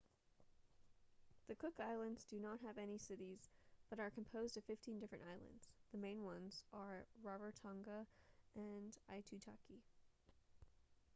the cook islands do not have any cities but are composed of 15 different islands the main ones are rarotonga and aitutaki